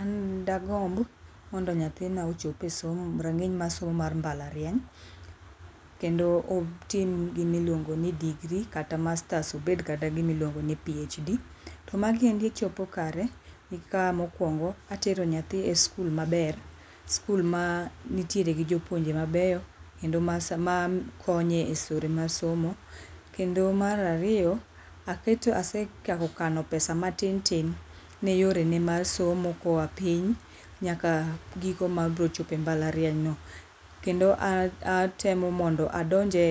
An dagomb mondo nyathina ochope rang'iny mar somo mar mblariany kendo otim gima iluongoni degree kata masters obedgi kata gi gima luongoni PHD. To magi endi chopo kare ka mokuongo atero nyathi e skul maber skul mantiere gi jouonje mabeyo kendo ma sama makonye esore mar somo. Kendo mar ariyo, ase aketo, asechako kano pesa matin tin ne yore ne mar somo koa piny nyaka giko mar biro chope mbalarianyno. Kendo atemo mondo adonje